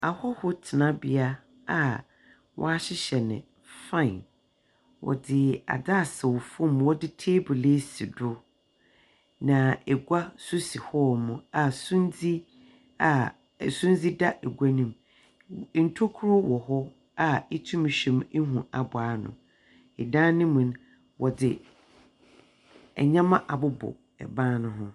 Ahɔho tenabea a wɔahyehyɛ no fine. Wɔdze adze asɛw fam wɔdze table esi do, na egua nso si hɔnom a sumdze a su, dze da egua no mu. Ntokua ɔ ha a itum hwɛm hu abow ano. San no mu no, wɔdze ndzɛmba abobɔ ban no ho.